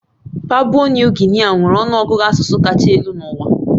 Papua Nuu Gini nwere ọnụ ọgụgụ asụsụ kacha elu n'ụwa